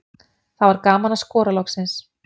Það var gaman að skora loksins.